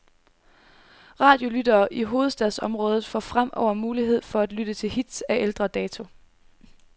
Radiolyttere i hovedstadsområdet får fremover mulighed for at lytte til hits af ældre dato.